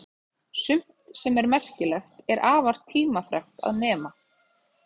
Sumt sem er merkilegt er afar tímafrekt að nema.